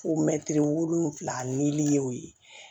Fo wolonwula ni y'o ye